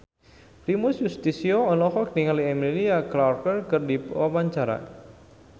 Primus Yustisio olohok ningali Emilia Clarke keur diwawancara